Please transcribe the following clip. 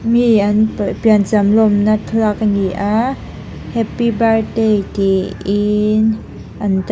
mi an piah piancham lawmna thlalak a ni a happy birthday tih in an--